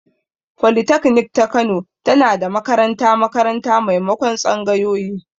Folitaknik ta Kano tana da makaranta-makaranta maimakon tsangayoyi.